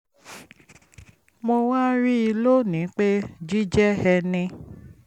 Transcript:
mo wá rí i lónìí pé jíjẹ́ ẹni